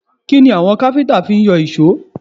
Kí ni àwọn káfíńtà ti ń yọ èṣó?